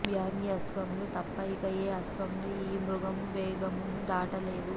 వామ్యాశ్వములు తప్ప ఇక ఏ అశ్వములు ఈ మృగము వేగమును దాటలేవు